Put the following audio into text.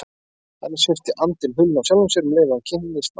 Þannig sviptir andinn hulunni af sjálfum sér um leið og hann kynnist náttúrunni.